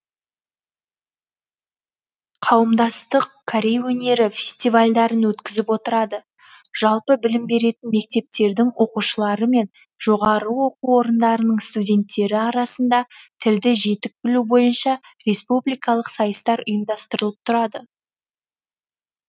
қауымдастық корей өнері фестивальдарын өткізіп отырады жалпы білім беретін мектептердің оқушылары мен жоғары оқу орындарының студенттері арасында тілді жетік білу бойынша республикалық сайыстар ұйымдастырылып тұрады